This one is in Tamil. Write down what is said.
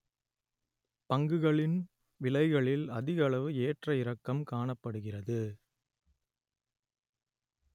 பங்குகளின் விலைகளில் அதிகளவு ஏற்ற இறக்கம் காணப்படுகிறது